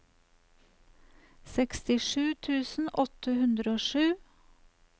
sekstisju tusen åtte hundre og sju